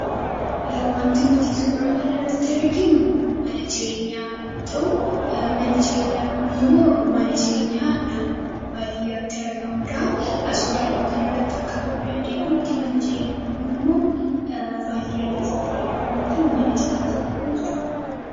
Waanti nuti suuraa kana irratti arginu, mana jireenyaa yoo ta'u, manni jireenyaa Kun immoo mana jireenyaa naannoo baadiyyaatti argamudha. Akkaataa suuraa kana irratti arguu dandeenyutti manni jireenyaa kun immoo baadiyyaa keessatti kan argamu yoo ta'u, mana citaa jedhamaa jechuudha.